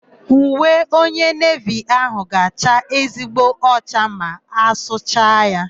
Uwe onye nevi áhụ̀ ga-acha ezigbo ọcha ma a sụcha ya.